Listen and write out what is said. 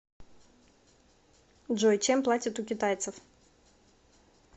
джой чем платят у китайцев